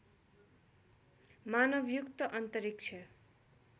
मानवयुक्त अन्तरिक्ष